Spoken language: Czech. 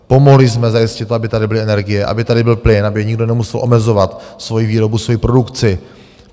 Pomohli jsme zajistit, aby tady byly energie, aby tady byl plyn, aby nikdo nemusel omezovat svoji výrobu, svoji produkci.